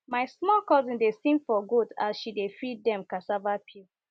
my small cousin dey sing for goat as she dey feed dem cassava peel